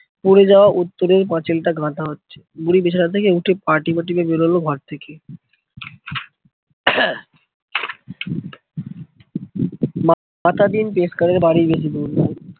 পরে যাওয়া উত্তরের পাঁচিলটা গাঁথা হচ্ছে। বুড়ি বিছানা থেকে উঠে পা টিপে টিপে বেরোলো ঘর থেকে। মাতাদিন পেশকারের বাড়ি বেশি দূর নয়